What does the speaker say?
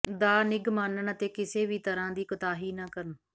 ਦਾ ਨਿੱਘ ਮਾਣਨ ਅਤੇ ਕਿਸੇ ਵੀ ਤਰਾਂ ਦੀ ਕੋਤਾਹੀ ਨਾ ਕਰਨ